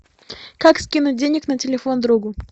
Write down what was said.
как скинуть денег на телефон другу